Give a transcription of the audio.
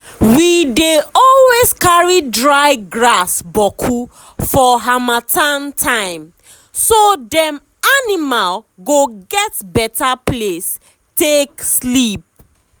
we dey always carry dry grass boku for harmattan timeso dem animal go get beta place take sleep.